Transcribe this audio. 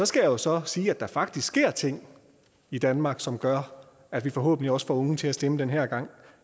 skal jeg så sige at der faktisk sker ting i danmark som gør at vi forhåbentlig også får unge til at stemme den her gang